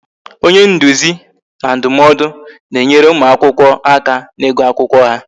Onye nduzi na ndụmọdụ na-enyere ụmụ akwụkwọ aka n'igu akwụkwọ ha